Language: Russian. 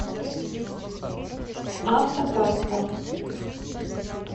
автокаста